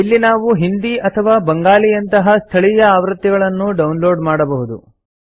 ಇಲ್ಲಿ ನಾವು ಹಿಂದಿ ಅಥವಾ ಬಂಗಾಳಿಯಂತಹ ಸ್ಥಳೀಯ ಆವೃತ್ತಿಗಳನ್ನೂ ಡೌನ್ಲೋಡ್ ಮಾಡಬಹುದು